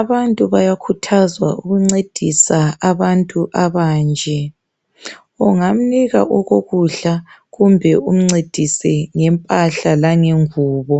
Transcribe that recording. abantu bayakhuthazwa ukuncedisa abantu abanje, ungamnika okokudla kumbe umncedise ngempahla langengubo.